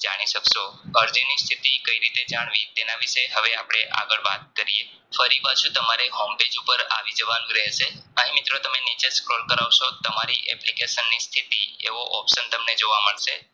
જાણી સક્સો અરજીની સ્થિતિ કઈ રીતે જાણવી તેના વિશે હવે આગળ વાત કરીયે ફરી પાછું તમારે home page ઉપર આવીજવાનું રહેશે અહીં મિત્રો તમે નીચે Scroll કરાવશો તમારી application ની સ્થિતિ એવો option તમને જોવા મળશે